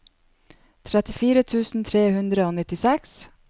trettifire tusen tre hundre og nittiseks